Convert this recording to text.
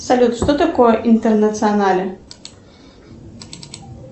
салют что такое интернационале